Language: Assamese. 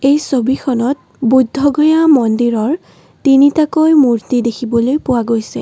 এই ছবিখনত বুদ্ধগয়া মন্দিৰৰ তিনিটাকৈ মূৰ্ত্তি দেখিব পৰা গৈছে।